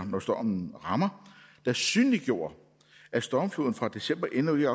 når stormen rammer der synliggjorde at stormfloden fra december endnu ikke